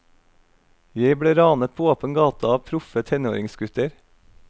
Jeg ble ranet på åpen gate av proffe tenåringsgutter.